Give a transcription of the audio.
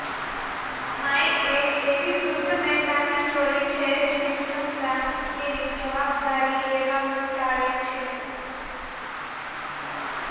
માઈ એક એવી વૃદ્ધ મહિલાની સ્ટોરી છે જેની સંતાન તેની જવાબદારી લેવાનું ટાળે છે